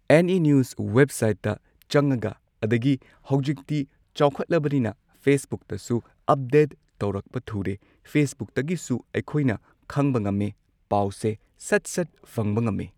NE news ꯋꯦꯕꯁꯥꯏꯠꯇ ꯆꯪꯉꯒ ꯑꯗꯒꯤ ꯍꯧꯖꯤꯛꯇꯤ ꯆꯥꯎꯈꯠꯂꯕꯅꯤꯅ ꯐꯦꯁꯕꯨꯛꯇꯁꯨ ꯑꯞꯗꯦꯠ ꯇꯧꯔꯛꯄ ꯊꯨꯔꯦ ꯐꯦꯁꯕꯨꯛꯇꯒꯤꯁꯨ ꯑꯩꯈꯣꯏꯅ ꯈꯪꯕ ꯉꯝꯃꯦ ꯄꯥꯎꯁꯦ ꯁꯠ ꯁꯠ ꯐꯪꯕ ꯉꯝꯃꯤ꯫